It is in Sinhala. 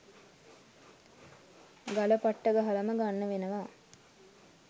ගල පට්ට ගහලම ගන්න වෙනවා